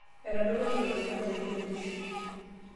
etodoutuo iltung'anak te nkuretisho